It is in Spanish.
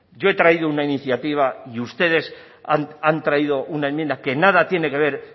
yo he traído una iniciativa y ustedes han traído una enmienda que nada tiene que ver